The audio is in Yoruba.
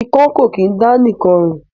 Ikán kò kín dá nìkan rìn